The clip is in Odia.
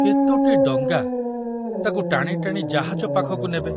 କେତୋଟି ଡଙ୍ଗା ତାକୁ ଟାଣି ଟାଣି ଜାହାଜ ପାଖକୁ ନେବେ।